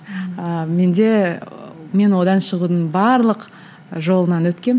ыыы менде ы мен одан шығудың барлық жолынан өткенмін